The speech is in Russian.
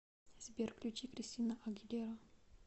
сбер включи кристина агилера